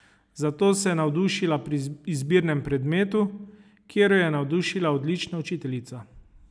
Za to se je navdušila pri izbirnem predmetu, kjer jo je navdušila odlična učiteljica.